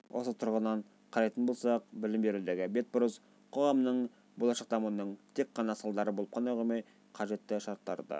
осы тұрғысынан қарайтын болсақ білім берудегі бетбұрыс қоғамның болашақ дамуының тек ғана салдары болып қоймай қажетті шарттары да